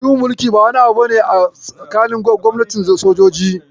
Juyin mulki ba wani abu bane a tsakanin gwamnatin soji.